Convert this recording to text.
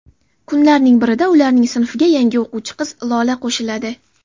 Kunlarning birida ularning sinfiga yangi o‘quvchi qiz Lola qo‘shiladi.